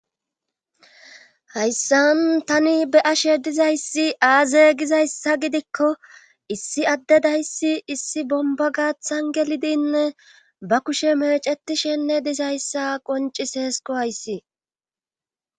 Hayssan tani be ashe dizayssi aaze gizayssa gidikko issi adde dayssi issi bomba gaathan gelidinne ba kushe mecetishenne dizayssa qonciseesko hayssi